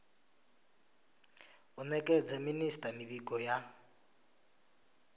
u nekedza minisita mivhigo ya